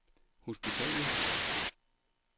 hospitalet